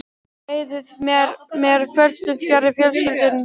Þið eyðið með mér kvöldstund fjarri fjölskyldum ykkar.